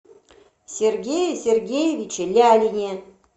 сергее сергеевиче лялине